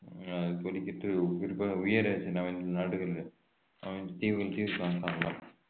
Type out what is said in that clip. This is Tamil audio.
ஆஹ் ஒளிக்கீற்று குறிப்பாக உயர் நாடுகளில்